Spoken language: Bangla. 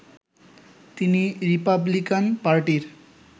তিনি রিপাবলিকান পার্টির